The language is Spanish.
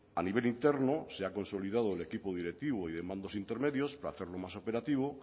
a nivel interno se ha consolidado el equipo directivo y de mandos intermedios para hacerlo más operativo